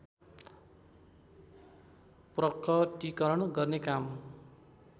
प्रकटिकरण गर्ने काम